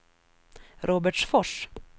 Robertsfors